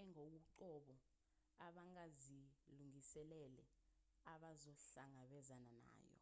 engokoqobo abangazilungiselele abazohlangabezana nayo